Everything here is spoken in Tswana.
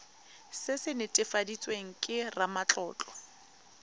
se se netefaditsweng ke ramatlotlo